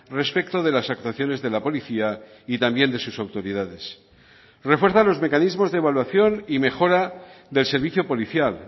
respecto de las actuaciones de la policía y también de sus autoridades refuerza los mecanismos de evaluación y mejora del servicio policial